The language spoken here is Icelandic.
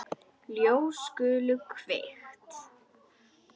Ljós skulu kveikt.